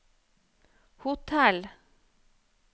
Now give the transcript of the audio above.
hotell